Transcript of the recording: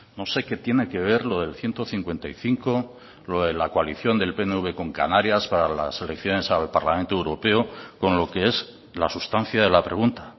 no sé qué tiene que ver lo del ciento cincuenta y cinco lo de la coalición del pnv con canarias para las elecciones al parlamento europeo con lo que es la sustancia de la pregunta